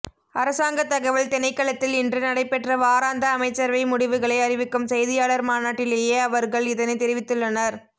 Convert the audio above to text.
அரசாங்க தகவல் திணைக்களத்தில் இன்று நடைபெற்ற வாராந்த அமைச்சரவை முடிவுகளை அறிவிக்கும் செய்தியாளர் மாநாட்டிலேயே அவர்கள் இதனைத் தெரிவித்துள்ளனர்